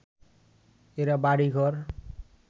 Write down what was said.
এরা বাড়িঘর